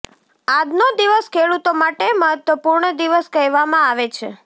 આજનો દિવસ ખેડૂતો માટે મહત્વપૂર્ણ દિવસ કહેવામાં આવે છે